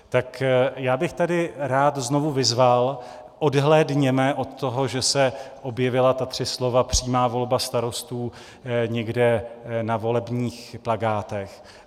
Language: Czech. Tak já bych tady rád znovu vyzval, odhlédněme od toho, že se objevila ta tři slova - přímá volba starostů - někde na volebních plakátech.